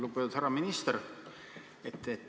Lugupeetud härra minister!